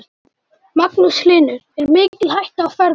Magnús Hlynur: Er mikil hætta á ferðum?